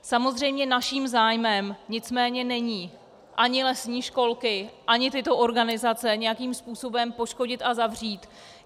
Samozřejmě naším zájmem nicméně není ani lesní školky ani tyto organizace nějakým způsobem poškodit a zavřít.